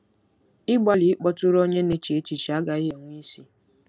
Ịgbalị ịkpọtụrụ onye na-eche echiche agaghị enwe isi.